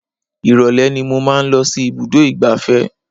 Ìrọ̀lẹ́ ni mo máa ń lọ sí ibùdó ìgbáfẹ́